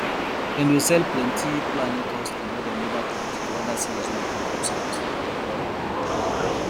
dem dey sell plenti fulani cow skin wey dem never touch to leather sellers way come from south